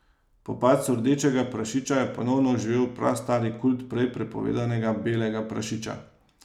Po padcu Rdečega prašiča je ponovno oživel prastari kult prej prepovedanega Belega prašiča.